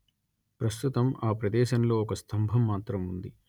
ప్రస్తుతం ఆ ప్రదేశంలో ఒక స్తంభం మాత్రం ఉంది